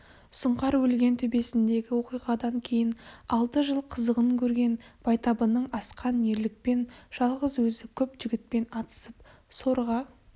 сұңқар өлген төбесіндегі оқиғадан кейін алты жыл қызығын көрген байтабынның асқан ерлікпен жалғыз өзі көп жігітпен атысып сорға